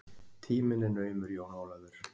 Tíminn er naumur Jón Ólafur!